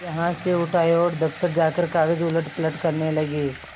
यहाँ से उठ आये और दफ्तर जाकर कागज उलटपलट करने लगे